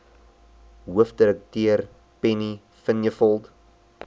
hoofdirekteur penny vinjevold